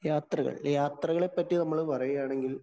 യാത്രകള്‍. യാത്രകളെ പറ്റി നമ്മള് പറയുകയാണെങ്കില്‍